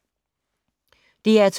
DR P2